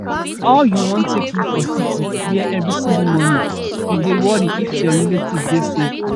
how you wan take live for city wia every single morning you dey worry if your relatives dey safe